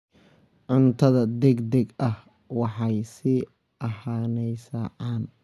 Cuntada degdega ahi waxay sii ahaanaysaa caan.